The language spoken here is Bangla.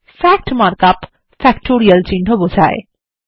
ফ্যাক্ট মার্ক আপ ফ্যাক্টোরিয়াল চিহ্ন বোঝায়